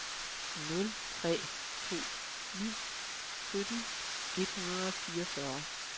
nul tre to ni sytten et hundrede og fireogfyrre